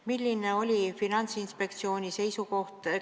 Milline oli Finantsinspektsiooni seisukoht?